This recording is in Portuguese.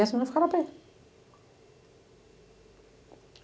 E as meninas ficavam a pé.